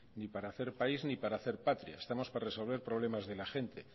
ni para hacer país ni para hacer patria estamos para resolver problemas de la gente